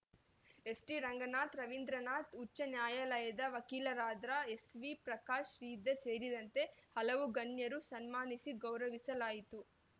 ST Ranganath Ravindranath ಉಚ್ಚನ್ಯಾಯಾಲಯದ ವಕೀಲರಾದ್ರ ಎಸ್‌ವಿ ಪ್ರಕಾಶ್‌ ಶ್ರೀಧರ್‌ ಸೇರಿದಂತೆ ಹಲವು ಗಣ್ಯರನ್ನು ಸನ್ಮಾನಿಸಿ ಗೌರವಿಸಲಾಯಿತು